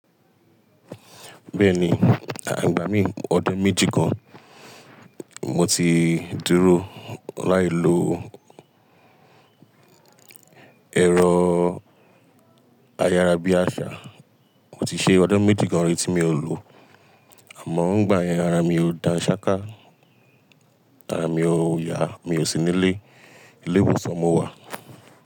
Bẹ́ẹ̀ni, à igbà mí ọdún méjì gan. Mo ti dúró láì lo ẹ̀rọ ayára bí àṣá. Mo ti ṣe ọdún méjì gan ri tí mi ò lo, àmọ́ ń gbà yẹn ara mi o da sáká, ara mi ò yá, mi ò sí nílé. Ilé ìwòsàn mo wà.